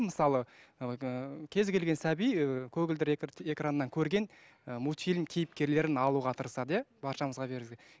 мысалы ыыы кез келген сәби ыыы көгілдір экраннан көрген і мультфильм кейіпкерін алуға тырасады иә баршаңызға